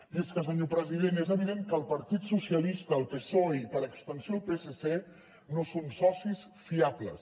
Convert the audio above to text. i és que senyor president és evident que el partit socialista el psoe i per extensió el psc no són socis fiables